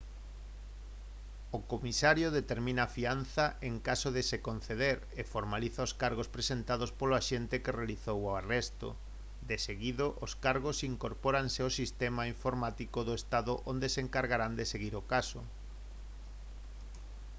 o comisario determina a fianza en caso de se conceder e formaliza os cargos presentados polo axente que realizou o arresto deseguido os cargos incorpóranse ao sistema informático do estado onde se encargarán de seguir o caso